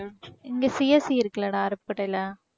இங்க CSC இருக்குல்லடா அருப்புக்கோட்டையில